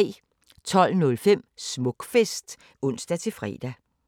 12:05: Smukfest (ons-fre)